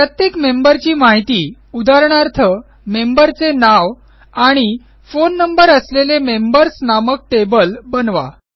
प्रत्येक मेंबरची माहिती उदाहरणार्थ मेंबरचे नाव आणि फोन नंबर असलेले मेंबर्स नामक टेबल बनवा